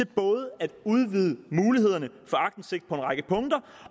både at udvide mulighederne for aktindsigt på en række punkter